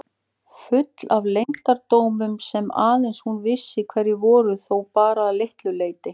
Full af leyndardómum sem aðeins hún vissi hverjir voru þó bara að litlu leyti.